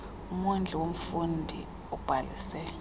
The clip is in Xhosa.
umondli womfundi obhalise